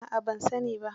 A'a ban sani ba.